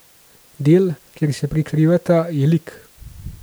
Del, kjer se lika prekrivata, je lik.